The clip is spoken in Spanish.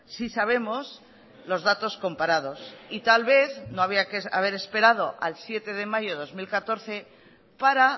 sí sabemos los datos comparados y tal vez no había que haber esperado al siete de mayo de dos mil catorce para